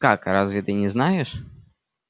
как разве ты не знаешь